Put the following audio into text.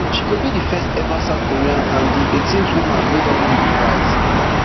she go be di first ever south korean and di eighteenth woman wey don win di prize